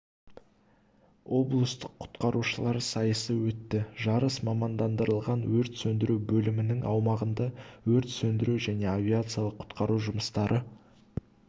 облыстық құтқарушылар сайысы өтті жарыс мамандандырылған өрт сөндіру бөлімінің аумағында өрт сөндіру және авариялық-құтқару жұмыстары